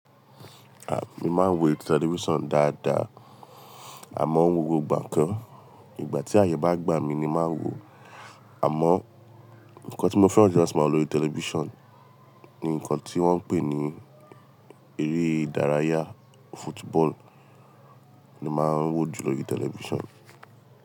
A, mi máa ń wo television dáadáa, àmọ́ gbogbo ìgbà kọ́ ìgbà tí àyè bá gbà mí ni màá wò ó. Àmọ́ nǹkan tí mo fẹ́ràn jùlọ láti máa wò lórí television ni nǹkan tí wọ́n ń pè ní eré ìdárayá, football ni màá ń wò jùlọ lórí television.